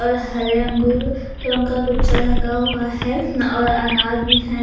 और हरे अंगूर का गुच्छा रखा हुआ है और अनार भी है।